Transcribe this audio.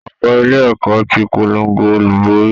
Ọ̀gá ilé ẹ̀kọ́ ti polongo olùborí